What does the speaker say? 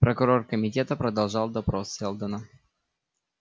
прокурор комитета продолжал допрос сэлдона